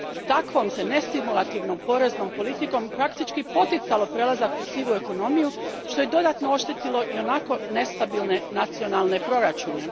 Takvom se nestimulativnom poreznom politikom praktički poticalo prelazak u sivu ekonomiju, što je dodatno oštetilo ionako nestabilne nacionalne proračune.